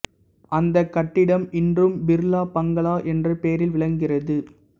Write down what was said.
அந்தக் கட்டிடம் இன்றும் பிர்லா பங்களா என்ற பெயரில் விளங்குகிறது